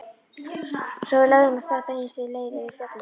Svo við lögðum af stað beinustu leið yfir fjallið.